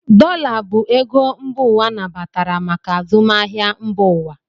Dollar bụ ego mba ụwa nabatara maka azụmahịa mba ụwa.